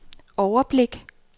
overblik